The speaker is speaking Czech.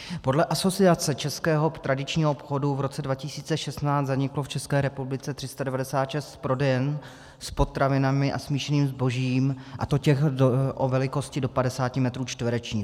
Podle Asociace českého tradičního obchodu v roce 2016 zaniklo v České republice 396 prodejen s potravinami a smíšeným zbožím, a to těch o velikosti do 50 metrů čtverečních.